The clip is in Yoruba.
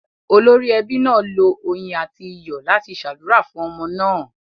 Olórí ẹbí náà lo oyin àti iyọ̀ láti ṣàdúrà fún ọmọ náà.